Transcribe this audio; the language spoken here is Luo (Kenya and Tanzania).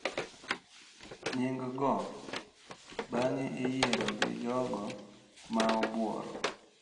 Nying’go bang’e iyiero gi jogo ma obworo.